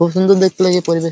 খুব সুন্দর দেখতে এই পরিবেশ--